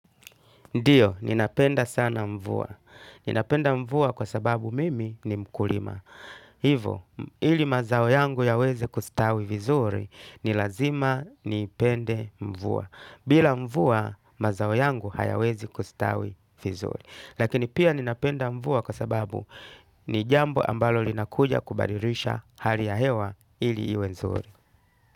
Ndiyo, ninapenda sana mvua. Ninapenda mvua kwa sababu mimi ni mkulima. Hivo, ili mazao yangu yaweze kustawi vizuri, ni lazima nipende mvua. Bila mvua, mazao yangu hayawezi kustawi vizuri. Lakini pia ninapenda mvua kwa sababu ni jambo ambalo linakuja kubadirisha hali ya hewa ili iwe nzuri.